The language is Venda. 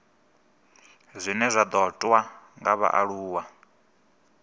zwine zwa ṱoḓwa nga vhaaluwa